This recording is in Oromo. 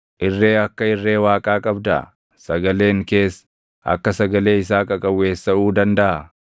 Irree akka irree Waaqaa qabdaa? Sagaleen kees akka sagalee isaa qaqawweessaʼuu dandaʼaa?